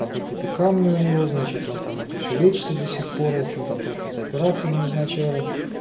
там какие-то камни у него значит он там это всё лечится до сих пор в общем там тоже какие-то операции ему назначали